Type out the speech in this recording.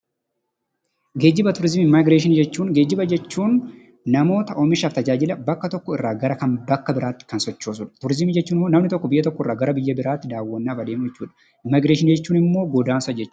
Geejjiba, tuurizimiif immigreeshinii jechuun namoota oomishaaf tajaajila bakka tokko irraa kan bakka biraatti sochoosudha. Turizimii jechuun ammoo namni tokko biyya tokkoo biyya biraatti daawwannaaf adeemuu jechuudha. Immigreeshinii jechuun ammoo godaansa jechuudha.